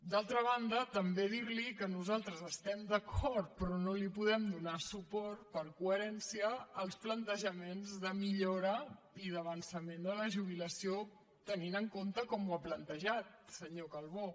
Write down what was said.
d’altra banda també dir li que nosaltres estem d’acord però no li podem donar suport per coherència amb els plantejaments de millora i d’avançament de la jubilació tenint en compte com ho ha plantejat senyor calbó